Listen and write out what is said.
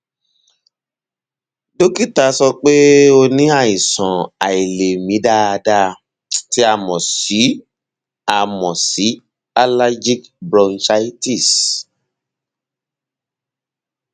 dókítà sọ pé ó ní àìsàn àìlèmí dáadáa tí a mọ sí a mọ sí allergic bronchitis